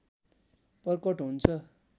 प्रकट हुन्छ